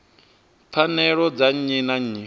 pfanelo dza nnyi na nnyi